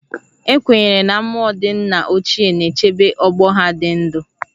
Ekwenyere na mmụọ ndị nna ochie na-echebe ọgbọ ha dị ndụ